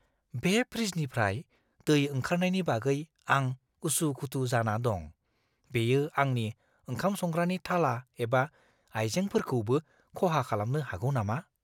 बे फ्रिजनिफ्राय दै ओंखारनायनि बागै आं उसु-खुथु जाना दं- बेयो आंनि ओंखाम-संग्रानि थाला एबा आइजेंफोरखौबो खहा खालामनो हागौ नामा?